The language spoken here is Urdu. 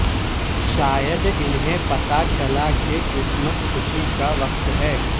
شاید انہیں پتہ چلا کہ کرسمس خوشی کا وقت ہے